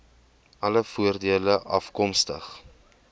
alle voordele afkomstig